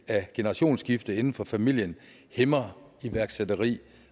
af generationsskifte inden for familien hæmmer iværksætteri